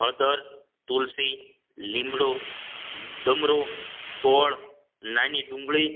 હળદર તુલસી લીમડો ડમરો ગોળ નાની ડુંગળી